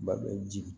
Ba bɛ ji